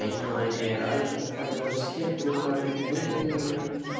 Einkvæni er algengt meðal sléttuúlfa en úlfynjan